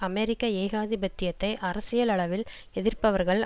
அமெரிக்க ஏகாதிபத்தியத்தை அரசியலளவில் எதிர்ப்பவர்கள்